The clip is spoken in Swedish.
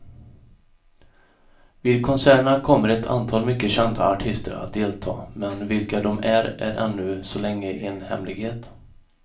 Vid konserterna kommer ett antal mycket kända artister att delta, men vilka de är är ännu så länge en hemlighet.